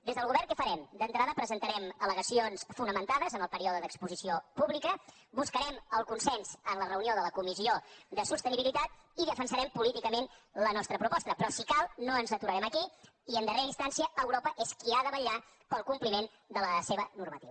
des del govern què farem d’entrada presentarem allegacions fonamentades en el període d’exposició pública buscarem el consens en la reunió de la comissió de sostenibilitat i defensarem políticament la nostra proposta però si cal no ens aturarem aquí i en darrera instància europa és qui ha de vetllar per al compliment de la seva normativa